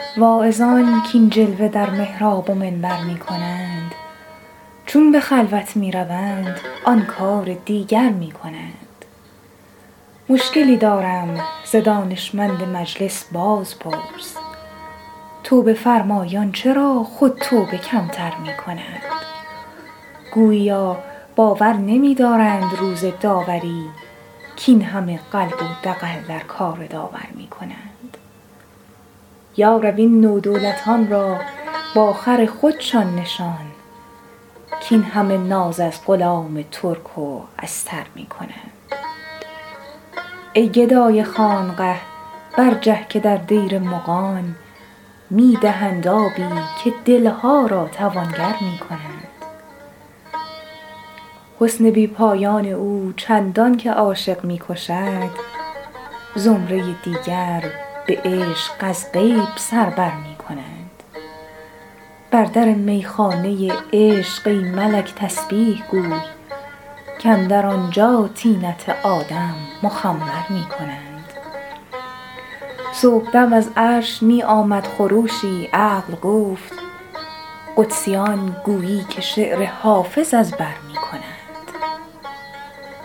واعظان کاین جلوه در محراب و منبر می کنند چون به خلوت می روند آن کار دیگر می کنند مشکلی دارم ز دانشمند مجلس بازپرس توبه فرمایان چرا خود توبه کم تر می کنند گوییا باور نمی دارند روز داوری کاین همه قلب و دغل در کار داور می کنند یا رب این نودولتان را با خر خودشان نشان کاین همه ناز از غلام ترک و استر می کنند ای گدای خانقه برجه که در دیر مغان می دهند آبی و دل ها را توانگر می کنند حسن بی پایان او چندان که عاشق می کشد زمره دیگر به عشق از غیب سر بر می کنند بر در می خانه عشق ای ملک تسبیح گوی کاندر آنجا طینت آدم مخمر می کنند صبح دم از عرش می آمد خروشی عقل گفت قدسیان گویی که شعر حافظ از بر می کنند